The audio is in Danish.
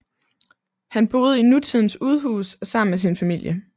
Han boede i nutidens udhus sammen med sin familie